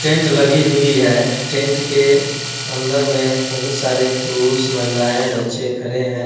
tent लगी हुई है टेंट के अंदर में बहुत सारे पुरुस महिलाए बच्चे खड़े हैं |